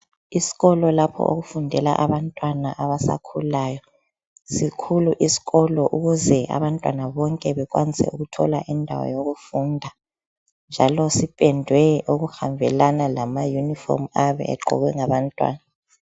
Isikolo lapho okufundela abantwana abasakhulayo. Sikhulu isikolo ukuze abantwana bonke bekwanise ukuthola indawo yokufunda njalo sipendwe okuhambelana lama uniform ayabe egqokwe ngabantwana